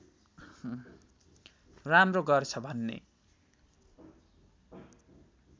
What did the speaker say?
राम्रो गर्छ भन्ने